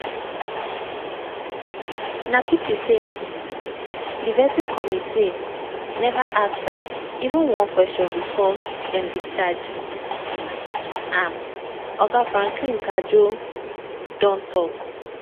na pity say um di vetting committee neva ask am even one question bifor dem discharge um am" oga franklin cudjoe don tok.